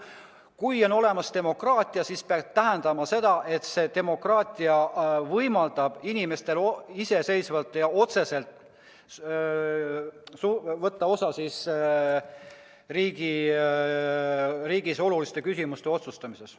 Kui on olemas demokraatia, siis see peaks tähendama, et see demokraatia võimaldab inimestel iseseisvalt ja otseselt võtta osa riigis oluliste küsimuste otsustamisest.